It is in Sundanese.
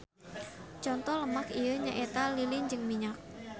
Conto lemak ieu nyaeta lilin jeung minyak.